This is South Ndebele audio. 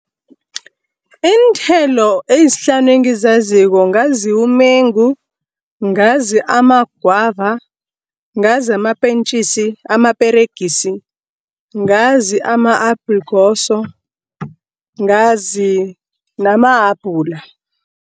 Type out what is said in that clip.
Iinthelo ezihlanu engizaziko ngazi umengu, ngazi amagwava, ngazi amapentjisi, amaperegisi, ngazi ama-aplekoso ngazi namahabhula.